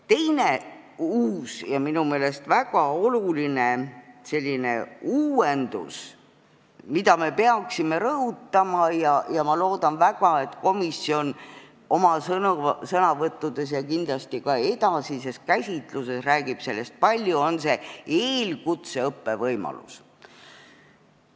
Teine ja minu meelest väga oluline uuendus, mida me peaksime rõhutama – ma loodan väga, et komisjoni liikmed oma sõnavõttudes sellest räägivad ja kindlasti ka komisjon edasises käsitluses räägib sellest palju –, on eelkutseõppe võimalus.